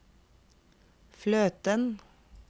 fløten